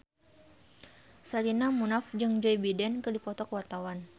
Sherina Munaf jeung Joe Biden keur dipoto ku wartawan